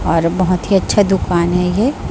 और बहोत ही अच्छा दुकान है ये--